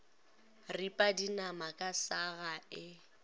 ripa dinama ka saga e